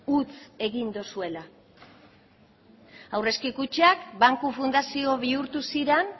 huts egin duzuela aurrezki kutxak banku fundazio bihurtu ziren